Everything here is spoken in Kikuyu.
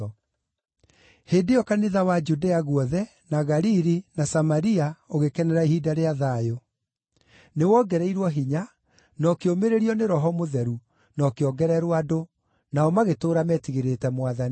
Hĩndĩ ĩyo kanitha wa Judea guothe, na Galili, na Samaria ũgĩkenera ihinda rĩa thayũ. Nĩwongereirwo hinya; na ũkĩũmĩrĩrio nĩ Roho Mũtheru, na ũkĩongererwo andũ, nao magĩtũũra metigĩrĩte Mwathani.